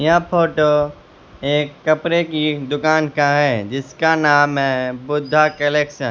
यह फोटो एक कपड़े की दुकान का है जिसका नाम है बुद्धा कलेक्शन ।